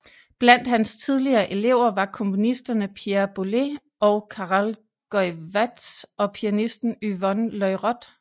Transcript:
Blandt hans tidlige elever var komponisterne Pierre Boulez og Karel Goeyvaerts og pianisten Yvonne Loriod